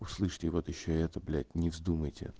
услышьте вот ещё и это блять не вздумайте